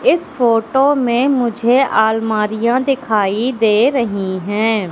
इस फोटो में मुझे अलमारियां दिखाई दे रही हैं।